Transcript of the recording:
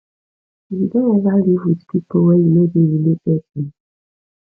you don ever live with people wey you no dey related to